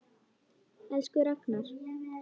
Elsku Ragnar.